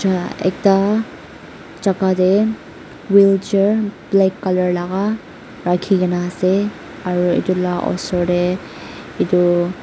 ekta jaka tae wheelchair black colour laka rakhikae na ase aru edu osor tae edu.